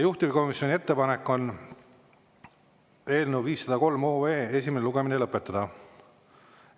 Juhtivkomisjoni ettepanek on eelnõu 503 esimene lugemine lõpetada.